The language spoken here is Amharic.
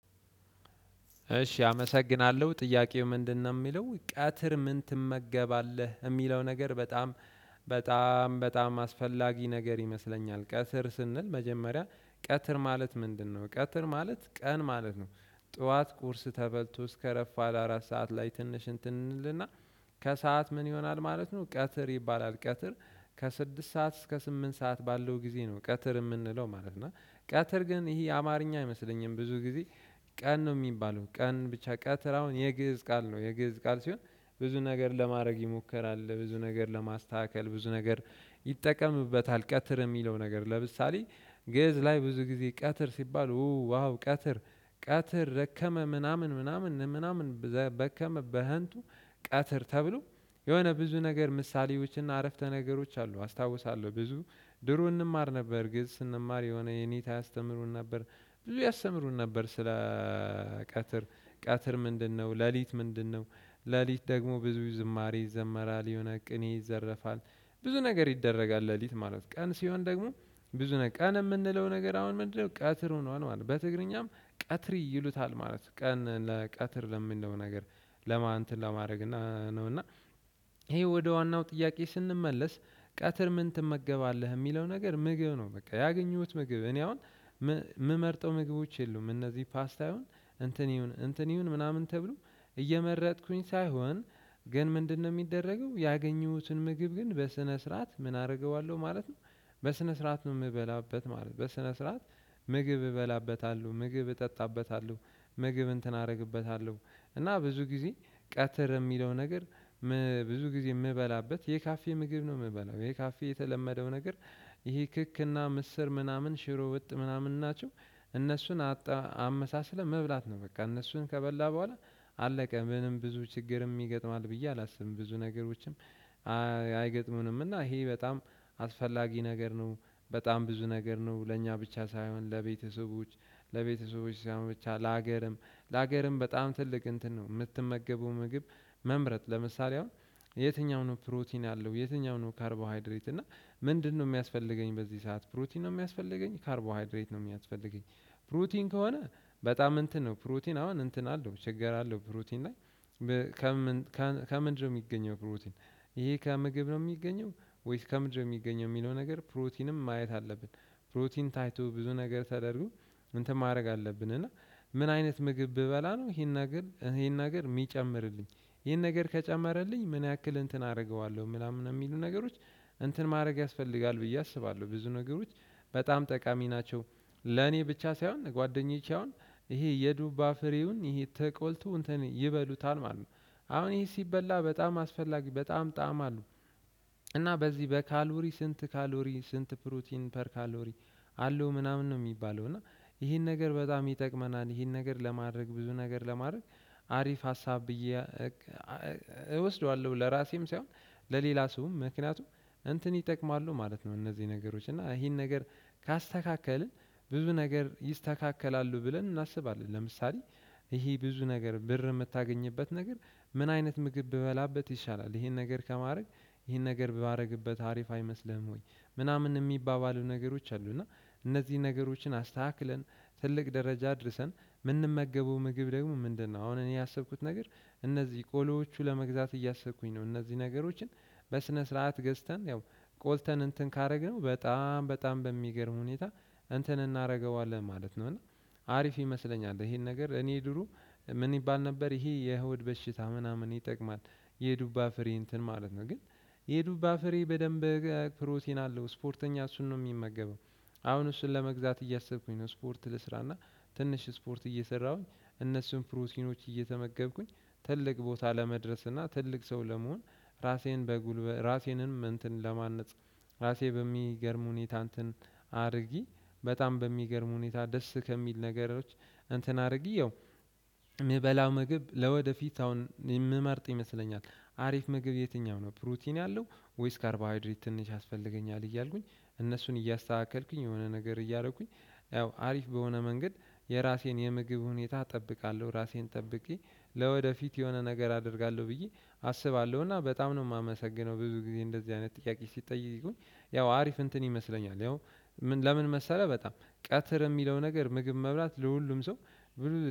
እሺ አመሰግናለሁ ጥያቄው ምንድነው የሚለው ቀትር ምን ትመገባለህ የሚለው ነገር በጣም በጣም በጣም አስፈላጊ ነገር ይመስለኛል ቀትር ስንል መጀመሪያ ቀትር ማለት ምንድነው? ቀትር ማለት ቀን ማለት ነው። ጠዋት ቁርስ ተበልቶ እስከ ረፋድ አራት ሰዓት ላይ ትንሽ እንትን እንልና ከሰአት ምን ይሆናል ማለት ነው ቀትር ይባላል ቀትር ከስድስት ሰዓት እስከ ስምንት ሰዓት ባለው ጊዜ ነው ቀትር የምንለው ማለት ነው። እና ቀትር ግን ይሄ አማርኛ አይመስለኝም ብዙ ጊዜ ቀን ነው የሚባለው ቀን ብቻ ቀጥር አሁን የ ግእዝ ቃል ነው። የግእዝ ቃል ሲሆን ብዙ ነገር ለማድረግ ይሞከራል ብዙ ነገር ለማስተካከል ብዙ ነገር ይጠቀምበታል ቀትር የሚለው ነገር ለምሳሌ ገዝ ላይ ብዙ ጊዜ ቀትር ሲባል ዋው ቀትር ቀትር ረከመ ምናምን ምናምን ምናምን በከመ በህንቱ ቀትር ተብሎ የሆነ ብዙ ነገር ምሳሌዎችና አረፍተ ነገሮች አሉ አስታውሳለሁ ብዙ ድሮ እንማር ነበር ግን ስንማር የሆነ የኔታ ያስተምሩን ነበር ብዙ ያስተምሩን ነበር ስለ ቀትር ምንድነው ሌሊት ምንድነው ሌሊት ደግሞ ብዙ ዝማሬ ይዘመራል የሆነ ቅኔ ይዘረፋል ብዙ ነገር ይደረጋል ሌሊት ማለት ቀን ሲሆን ደግሞ ብዙ ነገር የምንለው ነገር አሁን ምንድነው ቀትር ሆኗል ማለት በትግርኛም ቀትር ይሉታል ማለት ቀን ለቀትር ለምንድነው ነገር ለማን እንትን ለማድረግ ነው እና ይሄ ወደ ዋናው ጥያቄ ስንመለስ ቀትር ምን ትመገባለህ የሚለው ነገር ምግብ ነው። በቃ ያገኘሁት ምግብ እኔ አሁን የምመርጠው ምግቦች የሉም እነዚህ ፓስት ይሁን እንትን ይሁን እንትን ይሁን ምናምን ተብሎ እየመረጥኩኝ ሳይሆን ግን ምንድነው የሚደረገው ያገኙትን ምግብ ግን በስነ ስርዓት ምን አደርገዋለሁ ማለት ነው በስነ ስርዓት ነው የምበላበት ማለት ነው። በስነ ስርዓት ምግብ እበላበታለሁ ምግብ እጠጣበታለሁ ምግብ እንትን አደርግበታለሁ እና ብዙ ጊዜ ቀትር የሚለው ነገር ብዙ ጊዜ የምበላበት የካፌ ምግብ ነው የምበላው ይሄ ካፌ የተለመደው ነገር ይሄ ክክክና ምስር ምናምን ሽሮ ወጥ ምናምን ናቸው እነሱን አጣ አመሳስለን መብላት ነው በቃ እነሱን ከበላን በኋላ አለቀ ምንም ብዙ ችግርም ይገጥማል ብዬ አላስብም ብዙ ነገሮችም አይገጥሙንምና ይሄ በጣም አስፈላጊ ነገር ነው በጣም ብዙ ነገር ነው ለእኛ ብቻ ሳይሆን ለቤተሰቦች ለቤተሰቦች ሳይሆን ብቻ ለሀገርም ለሀገርም በጣም ትልቅ እንትን ነው የምትመገበው ምግብ መምረጥ ለምሳሌ አሁን የትኛው ነው ፕሮቲን አለው የትኛው ነው ካርቦሃይድሬት እና ምንድነው የሚያስፈልገኝ በዚህ ሰዓት ፕሩቲን ነው የሚያስፈልገኝ ካርቦሃድሬት ነው የሚያስፈልገኝ ፕሩቲን ከሆነ በጣም እንትን ነው ፕሮቲን አሁን እንትን አለው እቸገራለሁ ፕሮቲን ላይ ከምንድነው የሚገኘው ፕሮቲን ይሄ ከምግብ ነው የሚገኘው ወይስ ከምድር የሚገኘው የሚለው ነገር ፕሮቲንም ማየት አለብን ፕሮቲን ታይቶ ብዙ ነገር ተደርጎ እንትን ማድረግ አለብን እና ምን አይነት ምግብ ብበላ ነው ይሄን ነገር ይሄን ነገር የሚጨምርልኝ ይሄን ነገር ከጨመረልኝ ምን ያክል እንትን አደርገዋለሁ ምናምን የሚሉ ነገሮች እንትን ማድረግ ያስፈልጋል ብዬ አስባለሁ ብዙ ነገሮች በጣም ጠቃሚ ናቸው ለኔ ብቻ ሳይሆን ጓደኞቻውን ይሄ የዱባ ፍሬውን ይሄ ተቆልቶ እንትን ይበሉታል ማለት ነው። አሁን ይሄ ሲበላ በጣም አስፈላጊ በጣም ጣዕም አለው እና በዚህ በካልቦሪ ስንት ካልቦሪ ስንት ፕሮቲን ፐር ካልቦሪ አለው ምናምን ነው የሚባለው እና ይሄን ነገር በጣም ይጠቅመናል ይሄን ነገር ለማድረግ ብዙ ነገር ለማድረግ አሪፍ ሀሳብ ብዬ እወስደዋለሁ ለራሴም ሳይሆን ለሌላ ሰውም ምክንያቱም እንትን ይጠቅማሉ ማለት ነው እነዚህ ነገሮች እና ይሄን ነገር ካስተካከልን ብዙ ነገር ይስተካከላሉ ብለን እናስባለን ለምሳሌ ይሄ ብዙ ነገር ብር የምታገኝበት ነገር ምን አይነት ምግብ በላበት ይሻላል ይሄን ነገር ከማድረግ ይሄን ነገር ባደርግበት አሪፍ አይመስልህም ወይ ምናምን የሚባባሉ ነገሮች አሉ እና እነዚህን ነገሮችን አስተካክለን ትልቅ ደረጃ አድርሰን የምንመገበው ምግብ ደግሞ ምንድነው አሁን እኔ ያሰብኩት ነገር እነዚህ ቆሎዎቹ ለመግዛት እያሰብኩኝ ነው እነዚህ ነገሮችን በስነ ስርዓት ገዝተን ያው ቆልተን እንትን ካደረግነው በጣም በጣም በሚገርም ሁኔታ እንትን እናደርገዋለን ማለት ነው እና ይሄ ክክክና ምስር ምናምን ሽሮ ወጥ ምናምን ናቸው እነሱን አጣ አመሳስለህ መብላት ነው። በቃ እነሱን ከበላህ በኋላ አለቀ ምንም ብዙ ችግርም ይገጥምሀል ብዬ አላስብም ብዙ ነገሮችም ምን ይባል ነበር ይሄ የ ሆድ በሽታ ምናምን የ ተቅማጥ የ ዱባ ፍሬ እንትን ማለት ነው። ግን የ ዱባ ፍሬ በደንብ ፕሮቲን አለው እስፖርተኛ እሱን ነው ሚመገበው እሁን እሱን ለመግዛት እያሰብኩኝ ነው እስፖርት ልስራና ትንሽ እስፖርት እየሰራሁኝ እነሱን ፕሮቲኖች እየተመገብኩኝ ትልቅ ቦታ ለመድረስ እና ትልቅ ሰው ለመሆን እራሴን በ ጉልበት እራሴንም እንትን ለማነፅ እራሴ በሚገርም ሁኔታ እንትን አርጌ በጣም በሚገርም ሁኔታ ደስ ከሚል ነገሮች እንትን አርጌ ያው ምበላው ምግብ ለወደፊት አሁን የምመርጥ ይመስለኛል ፕሮቲን ያለው ወይስ ካርቦሀይድሬት ትንሽ ያስፈልገኛል እያልኩኝ እነሱን እያስተካከልኩኝ የሆነ ነገር እያረኩኝ ያው አሪፍ በሆነ መንገድ የራሴን የምግብ ሁኔታ ጠብቃለው እራሴን ጠብቄ ለወደፊት የሆነ ነገር አደርጋለው ብዬ አስባለው እና በጣም ነው ማመሰግነው ብዙ ግዜ እንዲ አይነት ጥያቄ ስጠይቁኝ ያው አሪፍ እንትን ይመስለኛል ያው ለምን መሰለህ በጣም ቀትር የሚለው ነገር ምግብ መብላት ለሁሉም ሰው